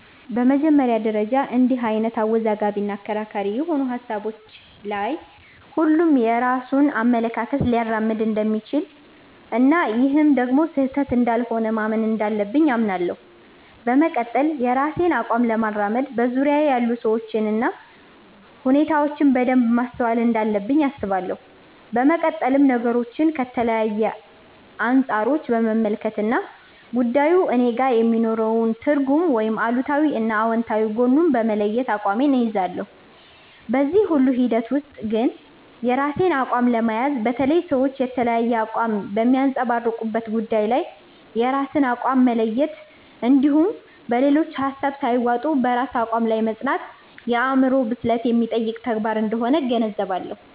በመጀመሪያ ደረጃ እንድህ አይነት አወዛጋቢ እና አከራካሪ የሆኑ ሀሳቦች ላይ ሁሉም የራሱን አመለካከት ሊያራምድ እንደሚችል እና ይህም ደግሞ ስህተት እንዳልሆነ ማመን እንዳለብኝ አምናለሁ። በመቀጠል የራሴን አቋም ለማራመድ በዙርያየ ያሉ ሰዎችን እና ሁኔታዎችን በደንብ ማስተዋል እንዳለብኝ አስባለሁ። በመቀጠልም ነገሮችን ከተለያዩ አንፃሮች በመመልከት እና ጉዳዩ እኔጋ የሚኖረውን ትርጉም ወይም አሉታዊ እና አውንታዊ ጎኑን በመለየት አቋሜን እይዛለሁ። በዚህ ሁሉ ሂደት ውስጥ ግን የራስን አቋም ለመያዝ፣ በተለይ ሰዎች የተለያየ አቋም በሚያንፀባርቁበት ጉዳይ ላይ የራስን አቋም መለየት እንድሁም በሌሎች ሀሳብ ሳይዋጡ በራስ አቋም ላይ መፅናት የአዕምሮ ብስለት የሚጠይቅ ተግባር አንደሆነ እገነዘባለሁ።